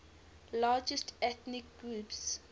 largest ethnic groups